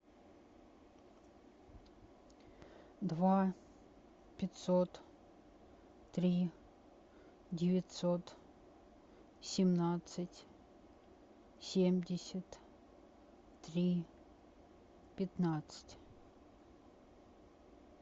два пятьсот три девятьсот семнадцать семьдесят три пятнадцать